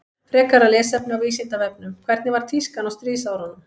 Frekara lesefni á Vísindavefnum Hvernig var tískan á stríðsárunum?